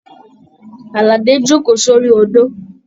Aládé joko sori odò.